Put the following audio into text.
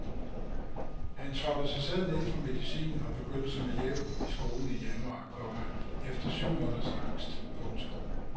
Han trappede sig selv ned fra medicinen og begyndte som elev i skolen i januar, komma efter syv måneders angst. punktum